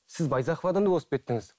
сіз байзақовадан да озып кеттіңіз